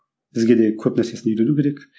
бізге де көп нәрсесін үйрену керек